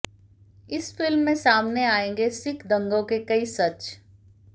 इस फिल्म में सामने आएंगे सिख दंगों के कई सच